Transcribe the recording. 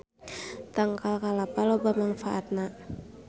Tangkal kalapa loba mangfaatna